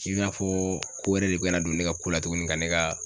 I n'a fɔ ko wɛrɛ de bɛna don ne ka ko la tuguni ka ne ka